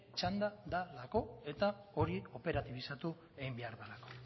txanda delako eta hori operatibizatu egin behar delako